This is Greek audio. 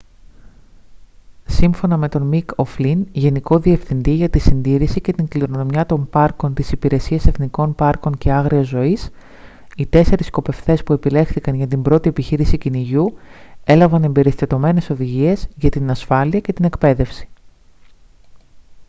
σύμφωνα με τον μικ ο' φλιν γενικό διευθυντή για τη συντήρηση και την κληρονομιά των πάρκων της υπηρεσίας εθνικών πάρκων και άγριας ζωής οι τέσσερεις σκοπευτές που επιλέχθηκαν για την πρώτη επιχείρηση κυνηγιού έλαβαν εμπεριστατωμένες οδηγίες για την ασφάλεια και την εκπαίδευση